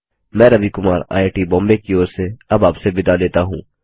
मैं रवि कुमार आईआईटीबॉम्बे की ओर से आपसे विदा लेता हूँ